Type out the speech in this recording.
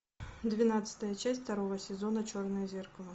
двенадцатая часть второго сезона черное зеркало